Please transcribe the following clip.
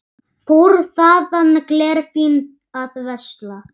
Fór þaðan glerfín að versla.